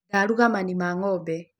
Ndaruga mani ma ng'ombe.